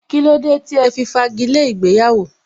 Kílódé tí ẹ fi fagi lé ìgbéyàwó?